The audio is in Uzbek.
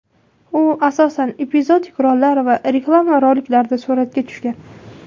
U, asosan, epizodik rollar va reklama roliklarida suratga tushgan.